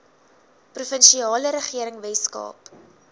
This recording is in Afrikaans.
provinsiale regering weskaap